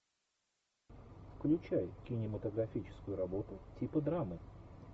включай кинематографическую работу типа драмы